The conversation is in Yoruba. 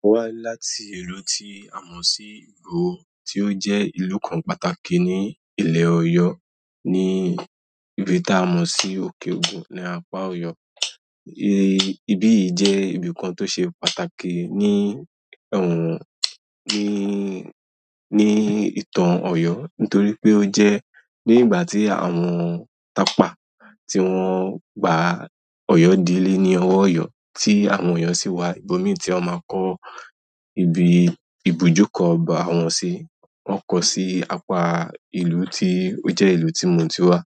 Mo wá láti ìlú tí a mọ̀ sí Ìgbòho tí ó jẹ́ ìlú kan pàtàkì ni Ilẹ̀ Ọ̀yọ́ ni ibi tí a mọ̀ sí òkè-ògún ni apá Ọ̀yọ́. Ibi yìí jẹ́ ibi kan tó ṣe pàtàkì ní ọ̀hùn ní, ní ìtàn Ọ̀yọ́ nítorí pé ó jẹ́ nígbà tí àwọn tapa tí wọ́n gba Ọ̀yọ́ dílé ní ọwọ́ Ọ̀yọ́ tí àwọn Ọ̀yọ́ sì wá ibòmí tí wọ́n máa kọ́ ibi ìbùjókọ̀ ọba wọn sí. Wọn kọ́ sí apá ìlú tí ó jẹ́ ìlú tí mo ti wá.